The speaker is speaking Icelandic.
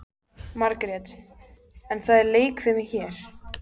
Margrét: En það er leikfimi hér.